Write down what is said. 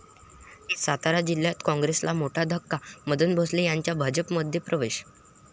सातारा जिल्ह्यात काँग्रेसला मोठा धक्का, मदन भोसले यांचा भाजपमध्ये प्रवेश